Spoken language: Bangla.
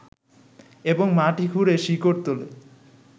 এবং মাটি খুঁড়ে শিকড় তোলে